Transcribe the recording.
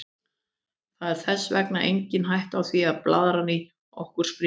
Það er þess vegna engin hætta á því að blaðran í okkur springi.